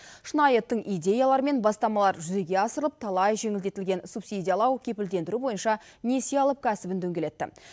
шынайы тың идеялар мен бастамалар жүзеге асырылып талай жеңілдетілген субсидиялау кепілдендіру бойынша несие алып кәсібін дөңгелетті